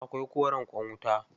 Akwai koren ƙwan wuta.